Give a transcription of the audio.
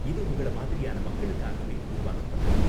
இது உங்கள மாதிரியான மக்களுக்காகவே உருவாக்கப்பட்டது